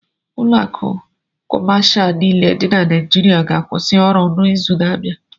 Ụlọ akụ kọmashal niile dị na Naịịjirịa ga-akwụsị ọrụ n'izu na abia.